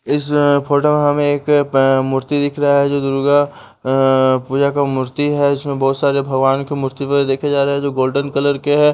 इस फोटो में हमें एक अह मूर्ति दिख रहा है जो दुर्गा अह पूजा का मूर्ति है जिसमें बहुत सारे भगवान के मूर्ति भी देखें जा रहे हैं जो गोल्डन कलर के हैं।